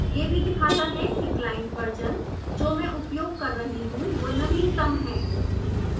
यह भी दिखाता है कि client version जो मैं उपयोग कर रही हूँ वो नवीनतम है